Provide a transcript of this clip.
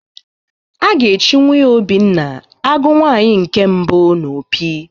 A ga-echi nwunye Obinna Agụ nwaanyi nke mbụ n'Opi